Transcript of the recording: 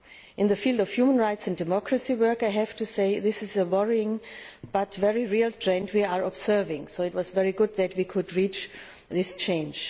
In the field of human rights and democracy work, I have to say this is a worrying but very real trend we are observing, so it was very good that we could reach this change.